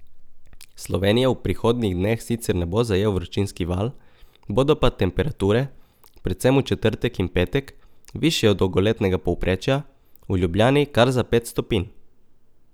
Slovenije v prihodnjih dneh sicer ne bo zajel vročinski val, bodo pa temperature, predvsem v četrtek in petek, višje od dolgoletnega povprečja, v Ljubljani kar za pet stopinj.